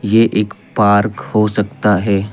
ये एक पार्क हो सकता है।